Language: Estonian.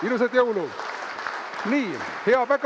Ilusaid jõule!